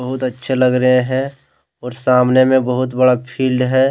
बहुत अच्छे लग रहे हैं और सामने में बहुत बड़ा फील्ड है।